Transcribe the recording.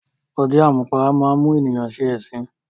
Ọtí àmupara máá ń mú ènìyàn ṣe ẹ̀sín